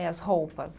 É, as roupas.